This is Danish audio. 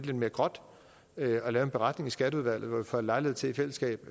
lidt mere gråt og lave en beretning i skatteudvalget hvor vi får lejlighed til i fællesskab